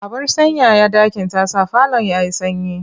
Abar sanyaya ɗaki ta sa falon ya yi sanyi.